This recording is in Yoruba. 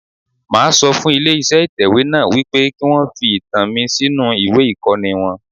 Máa sọ fún ilé iṣẹ́ ìtẹ̀wé náà wípé kí wọn fi ìtàn mi sínú ìwé ìkọ́ni wọn.